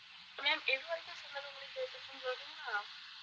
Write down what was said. ma'am எது வரைக்கும் சொன்னது உங்களுக்கு கேட்டுச்சுன்னு தெரியுமா